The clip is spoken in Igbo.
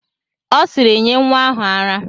Ọ sịịrị, nye nwa ahụ ara!